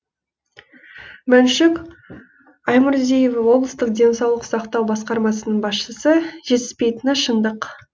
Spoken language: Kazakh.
мәншүк аймұрзиева облыстық денсаулық сақтау басқармасының басшысы жетіспейтіні шындық